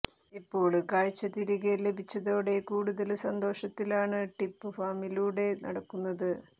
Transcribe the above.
ഇപ്പോള് കാഴ്ച തിരികെ ലഭിച്ചതോടെ കൂടുതല് സന്തോഷത്തിലാണ് ഡിപ് ഫാമിലൂടെ നടക്കുന്നത്